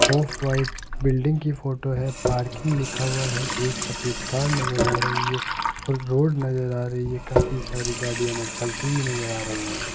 Of white building की photo है parking लिखा हुआ है एक सफेद कार नजर आ रही है और रोड नजर आ रही है काफी सारी गाड़ियां चलती हुई नजर आ रही हैं।